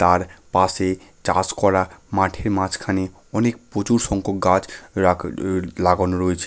তার পাশে চাষ করা মাঠের মাঝখানে অনেক প্রচুর সংখ্যক গাছ রাগ উ লাগানো রয়েছে।